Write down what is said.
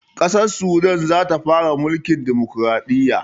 Ƙasar sudan zata fara mulkin dimukuraɗiyya